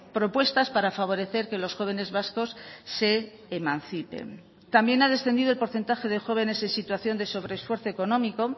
propuestas para favorecer que los jóvenes vascos se emancipen también ha descendido el porcentaje de jóvenes en situación de sobresfuerzo económico